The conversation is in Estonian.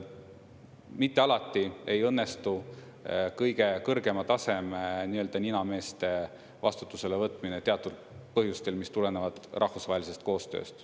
Mitte alati ei õnnestu kõige kõrgema taseme nii-öelda ninameeste vastutusele võtmine teatud põhjustel, mis tulenevad rahvusvahelisest koostööst.